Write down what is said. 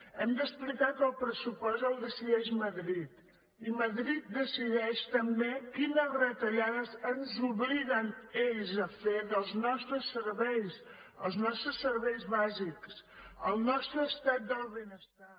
hem d’explicar que el pressupost el decideix madrid i madrid decideix també quines retallades ens obliguen ells a fer dels nostres serveis els nostres serveis bàsics el nostre estat del benestar